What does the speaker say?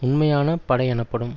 உண்மையான படை எனப்படும்